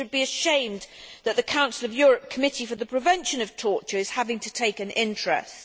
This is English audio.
We should be ashamed that the Council of Europe Committee for the Prevention of Torture is having to take an interest.